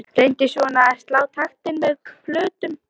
Reyndi svona að slá taktinn með plötum.